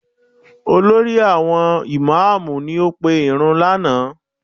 Olórí àwọn ìmáàmù ni ó pe ìrunú lánàá